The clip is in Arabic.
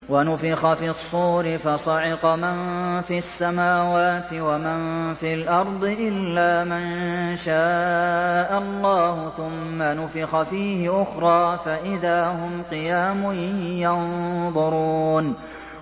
وَنُفِخَ فِي الصُّورِ فَصَعِقَ مَن فِي السَّمَاوَاتِ وَمَن فِي الْأَرْضِ إِلَّا مَن شَاءَ اللَّهُ ۖ ثُمَّ نُفِخَ فِيهِ أُخْرَىٰ فَإِذَا هُمْ قِيَامٌ يَنظُرُونَ